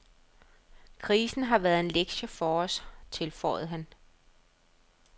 Krisen har været en lektie for os, tilføjede han.